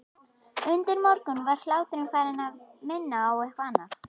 Undir morgun var hláturinn farinn að minna á eitthvað annað.